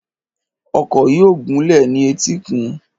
Ọkọ̀ yóò gúnlẹ̀ ní etíkun.